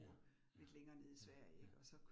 Ja ja, ja ja